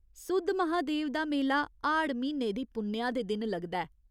सुद्धमहादेव दा मेला 'हाड़' म्हीने दी पुन्नेआ दे दिन लगदा ऐ।